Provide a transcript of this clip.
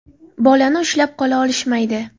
Bolani ushlab qola olishmaydi.